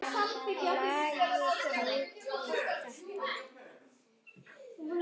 Lagið heitir þetta.